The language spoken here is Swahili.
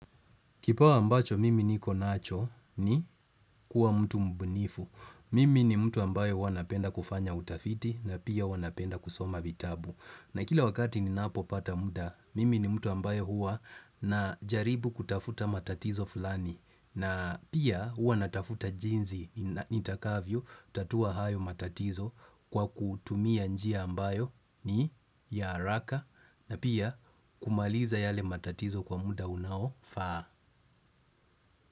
Kipawa ambacho mimi niko nacho ni kuwa mtu mbunifu. Mimi ni mtu ambayo huwa napenda kufanya utafiti na pia huwa napenda kusoma bitabu. Na kila wakati ninapopata muda, mimi ni mtu ambayo hua najaribu kutafuta matatizo fulani. Na pia hua natafuta jinzi nitakavyo tatua hayo matatizo kwa kutumia njia ambayo ni ya haraka na pia kumaliza yale matatizo kwa muda unaofaa.